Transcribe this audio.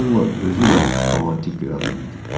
Bolla özü də romantik bir adam idi.